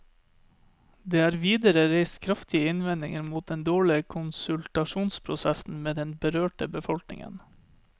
Det er videre reist kraftige innvendinger mot den dårlige konsultasjonsprosessen med den berørte befolkningen.